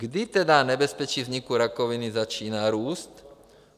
Kdy tedy nebezpečí vzniku rakoviny začíná růst?